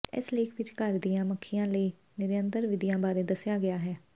ਇਸ ਲੇਖ ਵਿਚ ਘਰ ਦੀਆਂ ਮੱਖੀਆਂ ਲਈ ਨਿਯੰਤਰਣ ਵਿਧੀਆਂ ਬਾਰੇ ਦੱਸਿਆ ਗਿਆ ਹੈ